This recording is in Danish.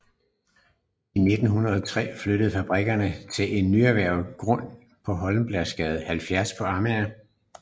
I 1903 flytter fabrikkerne til en nyerhvervet grund i Holmbladsgade 70 på Amager